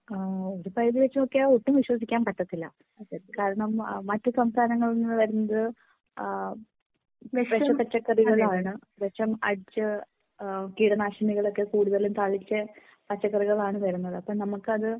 ആ ഒരു പരുതി വെച്ച് നോക്കിയാൽ ഒട്ടും വിശ്വസിക്കാൻ പറ്റത്തില്ല കാരണം മറ്റ് സംസ്ഥാനങ്ങളിൽ നിന്നു വരുന്നത് വിഷ പച്ചകറികൾ ആണ് വിഷം അടിച്ച് കീടനാശിനികൾ ഒക്കെ കൂടുതലും തളിച്ച് പച്ചകറികൾ ആണ് വരുന്നത് അപ്പോൾ നമുക്ക് അത്